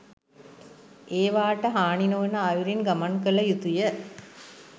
ඒවාට හානි නොවන අයුරින් ගමන් කළ යුතුය.